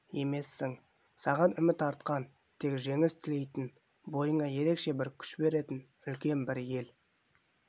емессің саған үміт артқан тек жеңіс тілейтін бойыңа ерекше бір күш беретін үлкен бір ел